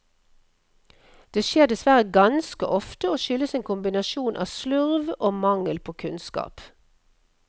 Det skjer dessverre ganske ofte og skyldes en kombinasjon av slurv og mangel på kunnskap.